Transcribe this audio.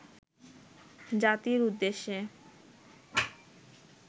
জাতির উদ্দেশ্যে